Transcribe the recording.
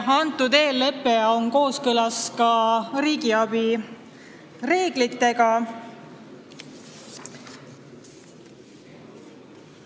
Kas see eellepe on kooskõlas ka riigiabi reeglitega?